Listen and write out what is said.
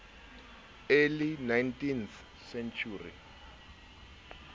early nineteenth century